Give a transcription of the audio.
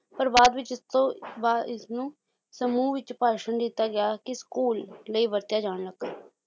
ਪਰ ਬਾਅਦ ਵਿੱਚ ਇਸਤੋਂ ਬਾ ਇਸਨੂੰ ਸਮੂਹ ਵਿੱਚ ਭਾਸ਼ਣ ਦਿੱਤਾ ਗਿਆ ਕੇ ਸਕੂਲ ਲਈ ਵਰਤਿਆ ਜਾਣ ਲੱਗਾ